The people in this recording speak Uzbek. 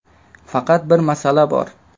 Faqat bir masala bor.